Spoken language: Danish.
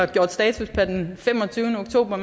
vi gjorde status per femogtyvende oktober